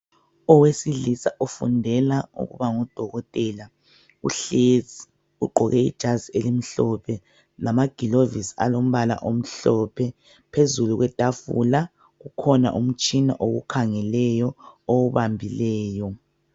Owesilisa ofundela ukuba ngudokotela uhlezi, Ugqoke ijazi elimhlophe, lamaglovisi alombala omhlophe, phezulu kwe tafula kukhona umtshina owukhangeleyo owubambileyo.